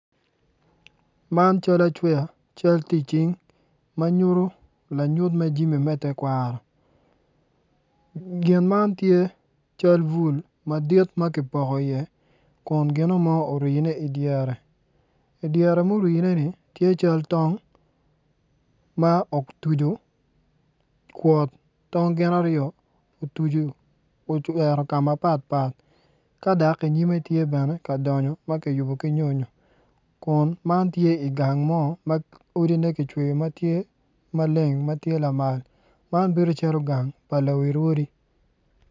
Man acal aweya ma nyuto jami me tekwaro gin man tye cal bul ma kipoko iye kun gino mo orine idyere i dyere murineni tye cal tong ma otucu kwot tong gin aryo otucu oero ka ma patpat dok i nyime tye ka donyo ma kiyubo ki nyonyo kun man tye i gang mo ma odine kicweyo ki maleng ma tye lama man bedo calo gang pa lawi odi.